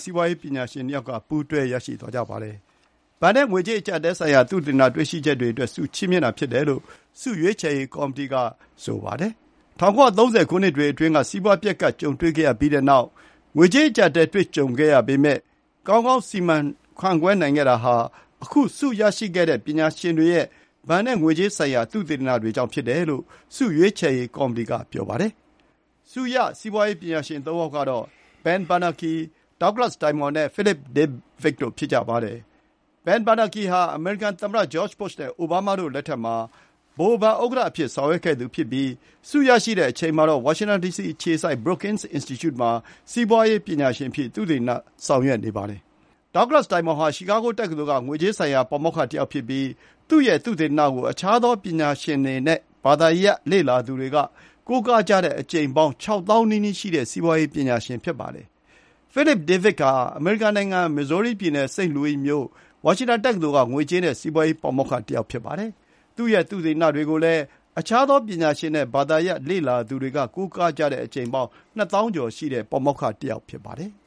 စီးပွါးရေးပညာရှင် သုံးယောက်က ပူးတွဲရရှိသွားကြပါတယ်။ ဘဏ်နဲ့ငွေကြေးအကျပ်အတည်းဆိုင်ရာ သုတေသနတွေ့ရှိချက်တွေအတွက် ချီးမြှင့်တာဖြစ်တယ်လို့ ဆုရွေးချယ်ရေး ကော်မတီက ဆိုပါတယ်။ ၁၉၃၀ ခုနှစ်တွေအတွင်းက စီးပွါးပျက်ကပ် ကြုံတွေ့ခဲ့ရပြီးတဲ့နောက် ငွေကြေး အကျပ်အတည်းတွေကြုံခဲ့ရပေမယ့် ကောင်းကောင်း စီမံခန့်ခွဲနိုင်ခဲ့တာဟာ ခု ဆုရခဲ့တဲ့ပညာရှင်တွေရဲ့ ဘဏ်နဲ့ငွေကြေးဆိုင်ရာ သုတေသနတွေကြောင့် ဖြစ်တယ်လို့ ဆုရွေးချယ်ရေး ကောက်မတီက ပြောပါတယ်။ ဆုရ စီးပွါးရေးပညာရှင်သုံးယောက်ကတော့ Ben Bernanke၊ Douglas Diamond နဲ့ Philip Dybvig တို့ ဖြစ်ကြပါတယ်။ Ben Bernanke ဟာ အမေရိကန်သမ္မတ ဂျော့်ချ်ဘုရှ်နဲ့ အိုဘားမားတို့လက်ထက်မှာ ဗဟိုဘဏ်ဥက္ကဋ္ဌအဖြစ်ဆောင်ရွက်ခဲ့သူဖြစ်ပြီး ဆုရရှိတဲ့အချိန်မှာတော့ ဝါရှင်တန်ဒီစီ အခြေစိုက် Brookings Institute မှာ စီးပွါးရေးပညာရှင်အဖြစ် သုတေသန ဆောင်ရွက်နေပါတယ်။ Douglas Diamond ဟာ ချီကာဂိုတက္ကသိုလ်က ငွေကြေးဆိုင်ရာပါမောက္ခ တယောက်ဖြစ်ပြီး သူ့ရဲ့ သုတေသနကို အခြားသော ပညာရှင်နဲ့ ဘာသာရပ်လေ့လာသူတွေက ကိုးကားကြတဲ့ အကြိမ်ပေါင်း ၆ သောင်းနီးနီးရှိတဲ့ စီးပွါးရေးပညာရှင် ဖြစ်ပါတယ်။ Philip Dybvig ကတော့ အမေရိကန်နိုင်ငံ၊ Missouri ပြည်နယ်၊ St. Louis မြို့ Washington တက္ကသိုလ်က ငွေကြေးနဲ့စီးပွါးရေးပါမောက္ခတယောက် ဖြစ်ပါတယ်။ သူ့ရဲ့သုတေသနတွေကို အခြားသောပညာရှင်နဲ့ ဘာသာရပ်လေ့လာသူတွေက ကိုးကားကြတဲ့အကြိမ်ပေါင်း ၂ သောင်းကျော်ရှိတဲ့ ပါမောက္ခ ဖြစ်ပါတယ်။